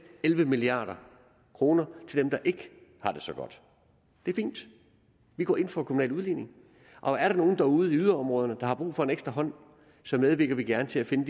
elleve milliard kroner til dem der ikke har det så godt det er fint vi går ind for kommunal udligning og er der nogen derude i yderområderne der har brug for en ekstra hånd så medvirker vi gerne til at finde